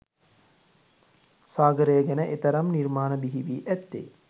සාගරය ගැන එතරම් නිර්මාණ බිහිවී ඇත්තේ